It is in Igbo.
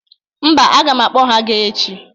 Mba, aga m akpọ ha ga echi